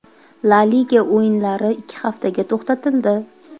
La Liga o‘yinlari ikki haftaga to‘xtatildi .